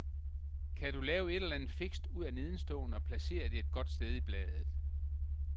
Kan du lave et eller andet fikst ud af nedenstående og placere det et godt sted i bladet?